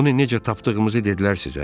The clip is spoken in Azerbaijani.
"Onu necə tapdığımızı dedilər sizə?"